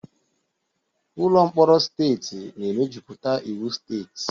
Ụlọ mkpọrọ steeti na-emejuputa iwu steeti.